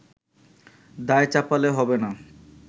দায় চাপালে হবেনা”